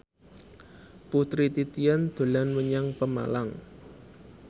Putri Titian dolan menyang Pemalang